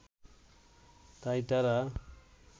তাই তারা